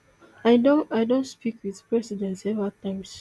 i don i don speak wit president several times